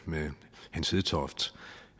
med hans hedtoft